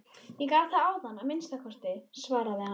Ég gat það áðan að minnsta kosti, svaraði hann.